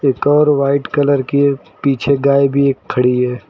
एक और white colour की एक पीछे गाय भी एक खड़ी है।